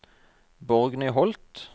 Borgny Holth